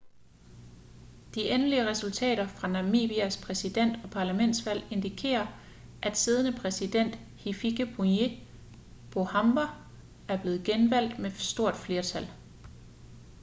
de endelige resultater fra namibias præsident- og parlamentsvalg indikerer at siddende præsident hifikepunye pohamba er blevet genvalgt med stort flertal